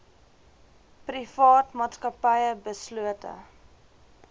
private maatskappye beslote